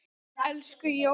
Elsku Jóhann.